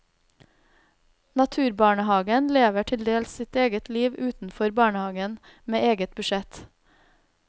Naturbarnehagen lever til dels sitt eget liv utenfor barnehagen med eget budsjett.